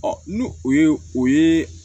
ni o ye o ye